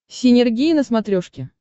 синергия на смотрешке